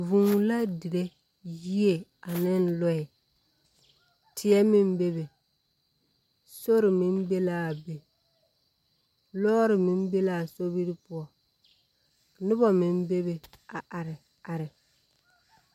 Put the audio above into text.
Vūū la dire yie ane lɔɛɛ. Teɛ meŋ bebe, sori meŋ be laa be. Lɔɔre meŋ be laa sobiri poɔ. Noba meŋ bebe a are are.